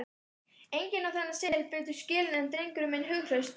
Enginn á þennan seðil betur skilinn en drengurinn minn hughrausti.